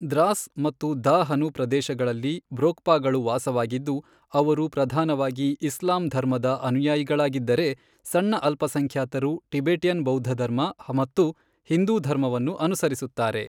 ದ್ರಾಸ್ ಮತ್ತು ಧಾ ಹನು ಪ್ರದೇಶಗಳಲ್ಲಿ ಬ್ರೋಕ್ಪಾಗಳು ವಾಸವಾಗಿದ್ದು, ಅವರು ಪ್ರಧಾನವಾಗಿ ಇಸ್ಲಾಂ ಧರ್ಮದ ಅನುಯಾಯಿಗಳಾಗಿದ್ದರೆ, ಸಣ್ಣ ಅಲ್ಪಸಂಖ್ಯಾತರು ಟಿಬೆಟಿಯನ್ ಬೌದ್ಧಧರ್ಮ ಮತ್ತು ಹಿಂದೂ ಧರ್ಮವನ್ನು ಅನುಸರಿಸುತ್ತಾರೆ.